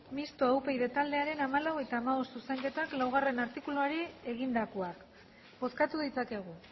mistoa upyd hamalau eta hamabost zuzenketak laugarrena artikuluari egindakoak bozkatu ditzakegu